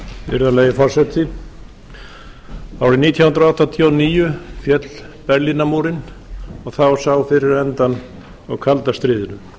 virðulegi forseti árið nítján hundruð áttatíu og níu féll berlínarmúrinn og þá sá fyrir endann á kalda stríðinu